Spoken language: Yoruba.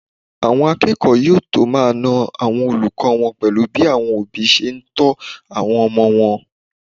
Àwọn akẹ́kọ̀ọ́ yóò tó máa na àwọn olùkọ́ wọn pẹ̀lú bí àwọn òbí ṣe ń tọ́ àwọn ọmọ wọn